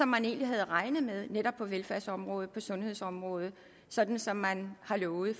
man egentlig havde regnet med på netop velfærdsområdet og sundhedsområdet sådan som man har lovet